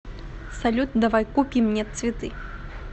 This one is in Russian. салют давай купим мне цветы